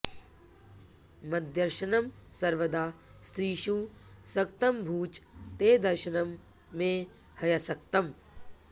मद्दर्शनं सर्वदा स्त्रीषु सक्तमभूच्च ते दर्शनं मे ह्यसक्तम्